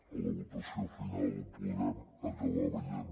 a la votació final ho podrem acabar veient